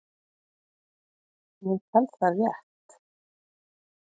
Ég tel það rétt.